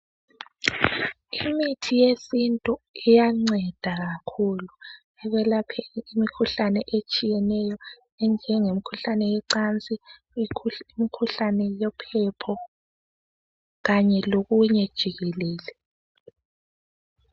Imithi yesintu iyanceda kakhulu ekwelapheni imikhuhlane etshiyeneyo enjenge imkhuhlane yecansi imkhuhlane yephepho kanye lokunye nje jikelele